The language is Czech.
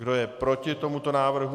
Kdo je proti tomuto návrhu?